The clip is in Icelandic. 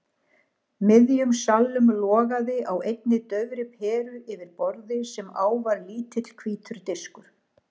miðjum salnum logaði á einni daufri peru yfir borði sem á var lítill hvítur diskur.